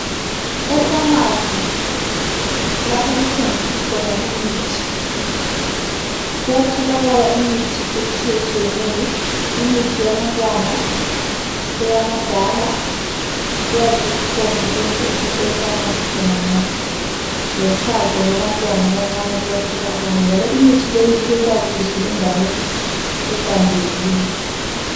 Efamasi lapho kuthengiswa khona imithi, kuyatholakala imithi etshiyetshiyeneyo. Imithi yabantwana, eyabadala, kuyabe kukhona konke efamasi khonangale. Lochago lwabantwana abancane luyatholakala njalo imithi leyi ibekwa kuhle endaweni ehlanzekileyo.